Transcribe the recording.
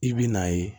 I bɛ n'a ye